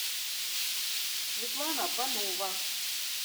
светлана панова